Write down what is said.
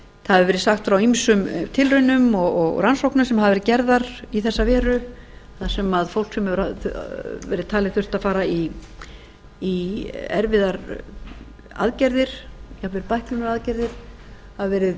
það hefur verið sagt frá ýmsum tilraunum og rannsóknum sem hafa verið gerðar í þessa veru þar sem fólk sem hefur verið talið þurfa að fara í erfiðar aðgerðir jafnvel bæklunaraðgerðir hafa verið